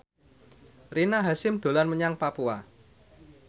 Rina Hasyim dolan menyang Papua